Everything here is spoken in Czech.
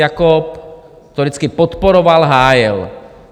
Jakob to vždycky podporoval, hájil.